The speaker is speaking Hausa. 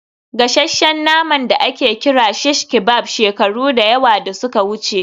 gasasshen nama da ake kira shish kebab shekaru da yawa da suka wuce